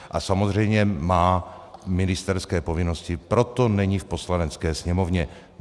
A samozřejmě má ministerské povinnosti, proto není v Poslanecké sněmovně.